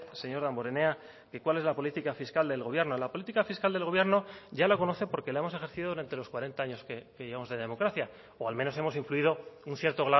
señor damborenea que cuál es la política fiscal del gobierno la política fiscal del gobierno ya la conoce porque la hemos ejercido durante los cuarenta años que llevamos de democracia o al menos hemos influido un cierto